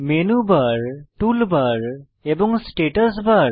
menu bar toolbar এবং status বার